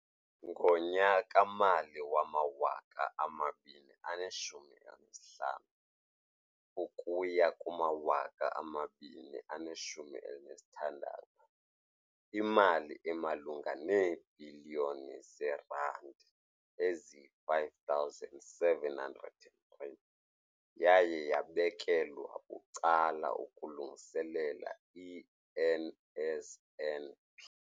Ngonyaka-mali wama-2015 ukuya ku2016, imali emalunga neebhiliyoni zeerandi eziyi-5 703 yaye yabekelwa bucala ukulungiselela i-NSNP.